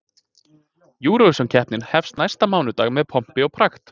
Eurovisionkeppnin hefst næsta mánudag með pompi og prakt.